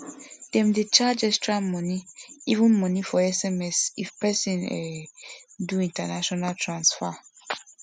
them dey charge extra money even money for sms if person um do international transfer